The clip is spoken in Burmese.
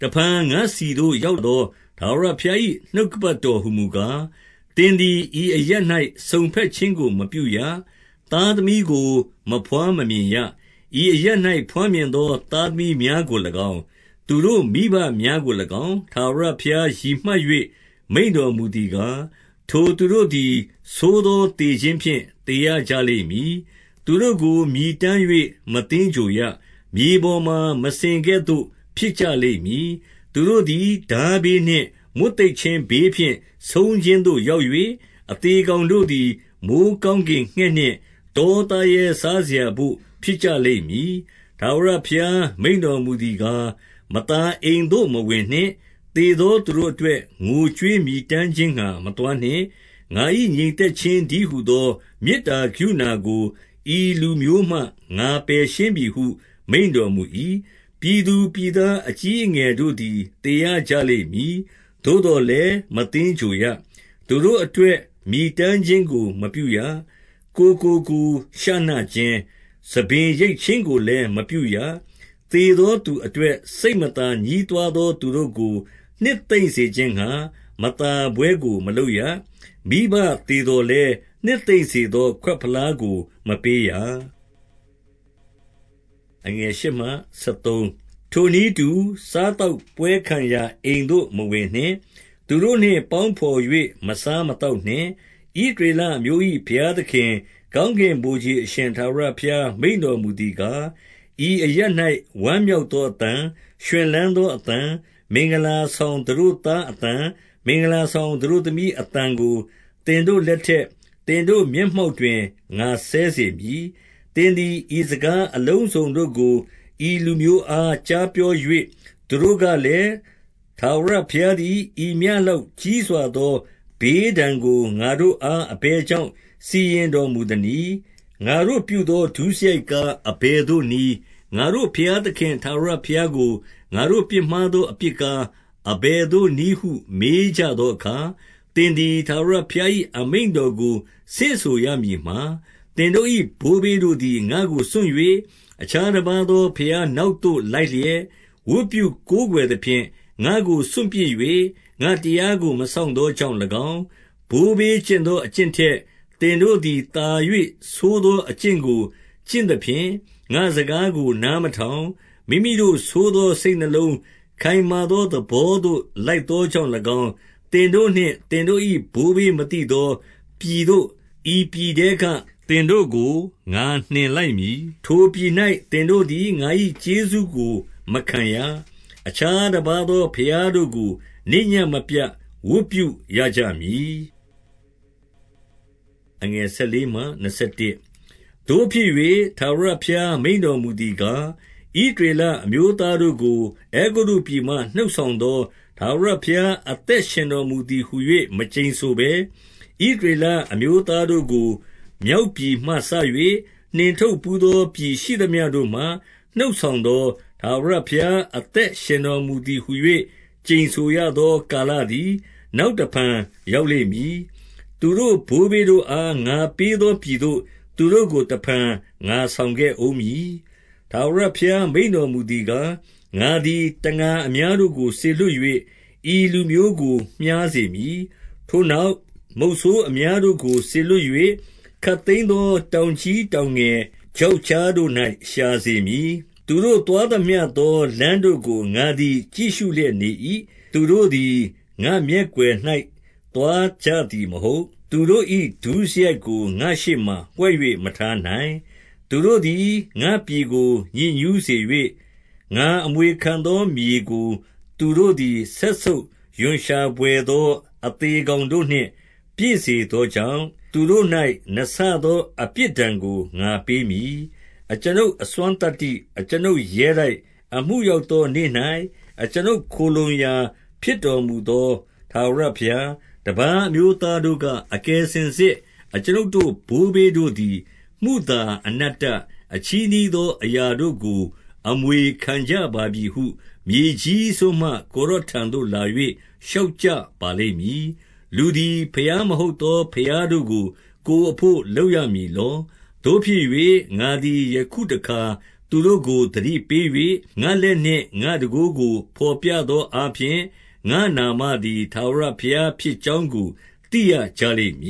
တဖန်ငါ့ဆီသို့ရောက်သော ထာဝရဘုရား၏ နှုတ်ကပတ်တော်ဟူမူကား၊ 2 သင်သည် ဤအရပ်၌ စုံဘက်ခြင်းကို မပြုရ။ သားသမီးကို မဘွားမမြင်ရ။ 3 ဤအရပ်၌ ဘွားမြင်သော သားသမီးများကို၎င်း၊ သူတို့မိဘများကို၎င်း၊ ထာဝရဘုရားရည်မှတ်၍ မိန့်တော်မူသည်ကား၊ 4 ထိုသူတို့သည် ဆိုးသော သေခြင်းဖြင့် သေရကြ လိမ့်မည်။ သူတို့ ကိုမြည်တမ်း၍ မသင်္ဂြိုဟ်ရ။ မြေပေါ်မှာ မစင်ကဲ့သို့ ဖြစ်ကြလိမ့်မည်။ သူတို့သည် ထားဘေးနှင့် မွတ်သိပ်ခြင်းဘေးဖြင့် ဆုံးခြင်းသို့ရောက်၍၊ အသေ ကောင်တို့သည် မိုဃ်းကောင်းကင်ငှက်နှင့် တောသားရဲ စားစရာဘို့ ဖြစ်ကြလိမ့်မည်။ 5 ထာဝရဘုရား မိန့်တော်မူသည်ကား၊ မသာအိမ် သို့ မဝင်နှင့်။ သေသောသူတို့အတွက် ငိုကြွေးမြည်တမ်း ခြင်းငှါ မသွားနှင့်။ ငါ၏ ငြိမ်သက်ခြင်းတည်းဟူသော မေတ္တာကရုဏာကို ဤလူမျိုးမှ ငါပယ်ရှင်းပြီဟု မိန့်တော် မူ၏။ 6 ပြည်သူပြည်သား အကြီးအငယ်တို့သည် သေရ ကြလိမ့်မည်။ သို့သော်လည်း၊ မသင်္ဂြိုဟ်ရ။ သူတို့အတွက် မြည်တမ်းခြင်းကိုမပြုရ။ ကိုယ်ကို ကိုယ်ရှနခြင်း၊ ဆံပင် ရိတ်ခြင်းကိုလည်း မပြုရ။ 7 သေသောသူတို့အတွက် စိတ်မသာ ညဉ်းတွား သော သူတို့ကို နှစ်သိမ့်စေခြင်းငှါ၊ မသာပွဲကို မလုပ်ရ။ မိဘသေသော်လည်း၊ နှစ်သိမ့်စေသော ခွက်ဖလားကို မပေးရ။ 8 ထိုနည်းတူ၊ စားသောက်ပွဲခံရာ အိမ်သို့မဝင်နှင့်။ သူတို့နှင့် ပေါင်းဘော်၍ မစားမသောက်နှင့်။ 9 ဣသရေလအမျိုး၏ ဘုရားသခင်၊ ကောင်းကင် ဗိုလ်ခြေအရှင် ထာဝရဘုရား မိန့်တော်မူသည်ကား၊ ဤအရပ်၌ ဝမ်းမြောက်သောအသံ၊ ရွှင်လန်းသောအသံ၊ မင်္ဂလာဆောင် သတို့သားအသံ၊ မင်္ဂလာဆောင် သတို့ သမီးအသံကို သင်တို့လက်ထက်၊ သင်တို့မျက်မှောက်တွင် ငါစဲစေမည်။ 10 သင်သည် ဤစကားအလုံးစုံတို့ကို ဤလူမျိုးအား ကြားပြော၍ သူတို့ကလည်း၊ ထာဝရဘုရားသည် ဤမျှ လောက်ကြီးစွာသော ဘေးဒဏ်ကို ငါတို့အား အဘယ် ကြောင့် စီရင်တော်မူသနည်း။ ငါတို့ပြုသော ဒုစရိုက်ကား၊ အဘယ်သို့နည်း။ ငါတို့ဘုရားသခင် ထာဝရဘုရားကို ငါတို့ပြစ်မှားသော အပြစ်ကား၊ အဘယ်သို့နည်းဟု မေးကြသောအခါ၊ 11 သင်သည် ထာဝရဘုရား၏ အမိန့်တော်ကို ဆင့်ဆိုရမည်မှာ၊ သင်တို့၏ ဘိုးဘေးတို့သည် ငါ့ကိုစွန့်၍၊ အခြားတပါးသော ဘုရားနောက်သို့ လိုက်လျက်၊ ဝတ်ပြု ကိုးကွယ်သဖြင့် ငါ့ကိုစွန့်ပစ်၍၊ ငါ့တရားကို မစောင့် သောကြောင့်၎င်း၊ 12 ဘိုးဘေးကျင့်သော အကျင့်ထက်၊ သင်တို့သည် သာ၍ဆိုးသော အကျင့်ကို ကျင့်သဖြင့်၊ ငါ့စကားကို နား မထောင်၊ မိမိတို့ဆိုးသောစိတ်နှလုံး၊ ခိုင်မာသော သဘော သို့ လိုက်သောကြောင့်၎င်း၊ 13 သင်တို့နှင့် သင်တို့၏ ဘိုးဘေးမသိသောပြည်သို့ ဤပြည်ထဲက သင်တို့ကို ငါနှင်လိုက်မည်။ ထိုပြည်၌ သင်တို့သည် ငါ၏ကျေးဇူးကိုမခံရ။ အခြားတပါးသော ဘုရားတို့ကို နေ့ညဉ့်မပြတ် ဝတ်ပြုရကြမည်။ 14 သို့ဖြစ်၍၊ ထာဝရဘုရား မိန့်တော်မူသည်ကား၊ ဣသရေလ အမျိုးသားတို့ကို အဲဂုတ္တုပြည်မှ နှုတ်ဆောင် သော ထာဝရဘုရား အသက်ရှင်တော်မူသည်ဟူ၍ မကျိန်ဆိုဘဲ၊ 15 ဣသရေလအမျိုးသားတို့ကို မြောက်ပြည်မှစ၍၊ နှင်ထုတ်ဘူးသော ပြည်ရှိသမျှတို့မှ နှုတ်ဆောင်သော ထာဝရဘုရား အသက်ရှင်တော်မူသည်ဟူ၍ ကျိန်ဆိုရ သော ကာလသည် နောက်တဖန် ရောက်လိမ့်မည်။ သူတို့ ဘိုးဘေးတို့အား ငါပေးသောပြည်သို့ သူတို့ကို တဖန် ငါဆောင်ခဲ့ဦးမည်။ 16 ထာဝရဘုရားမိန့်တော်မူသည်ကား၊ ငါသည် တံငါအများတို့ကို စေလွှတ်၍၊ ဤလူမျိုးကိုမျှားစေမည်။ ထိုနောက်၊ မုဆိုးအများတို့ကို စေလွှတ်၍၊ ခပ်သိမ်းသော တောင်ကြီး တောင်ငယ်၊ ချောက်ကြားတို့၌ ရှာစေမည်။ 17 သူတို့သွားသမျှသော လမ်းတို့ကို ငါသည် ကြည့်ရှုလျက်နေ၏။ သူတို့သည် ငါ့မျက်ကွယ်၌ သွားကြ သည်မဟုတ်။ သူတို့၏ ဒုစရိုက်ကို ငါ့ရှေ့မှာ ဝှက်၍ မထားနိုင်။ 18 သူတို့သည် ငါ့ပြည်ကို ညစ်ညူးစေ၍၊ ငါအမွေခံ သော မြေကို သူတို့သည် စက်ဆုပ်ရွံရှာဘွယ်သော အသေကောင်တို့နှင့် ပြည့်စေသောကြောင့်၊ သူတို့၌ နှစ်ဆ သော အပြစ်ဒဏ်ကို ငါပေးမည်။ 19 အကျွန်ုပ် အစွမ်းသတ္တိ၊ အကျွန်ုပ်ရဲတိုက်၊ အမှု ရောက်သောနေ့၌ အကျွန်ုပ်ခိုလှုံရာဖြစ်တော်မူသော ထာဝရဘုရား၊ တပါးအမျိုးသားတို့က၊ အကယ်စင်စစ် အကျွန်ုပ်တို့ ဘိုးဘေးတို့သည် မုသာ၊ အနတ္တ၊ အချည်းနှီးသော အရာ တို့ကို အမွေခံကြပါပြီဟု၊ မြေကြီးစွန်းမှ ကိုယ်တော်ထံသို့ လာ၍ လျှောက်ကြပါလိမ့်မည်။ 20 လူသည် ဘုရားမဟုတ်သော ဘုရားတို့ကို ကိုယ်အဘို့ လုပ်ရမည်လော။ 21 သို့ဖြစ်၍၊ ငါသည်ယခုအခါ သူတို့ကိုသတိပေး၍၊ ငါ့လက်နှင့် ငါ့တန်ခိုးကို ဘော်ပြသောအားဖြင့်၊ ငါ့နာမ သည်ထာဝရဘုရားဖြစ်ကြောင်းကို သိရကြလိမ့်မ